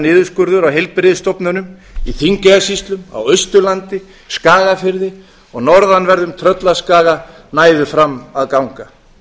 niðurskurður á heilbrigðisstofnunum í þingeyjarsýslum á austurlandi skagafirði og norðanverðum tröllaskaga næðu fram að ganga